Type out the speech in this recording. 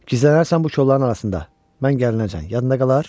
Gizlənərsən bu kolların arasında, mən gələnəcən, yadında qalar?